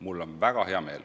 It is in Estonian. Mul on väga hea meel.